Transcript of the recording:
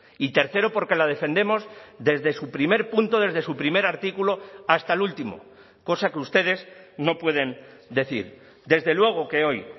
y tercero porque la defendemos desde su primer punto desde su primer artículo hasta el último cosa que ustedes no pueden decir desde luego que hoy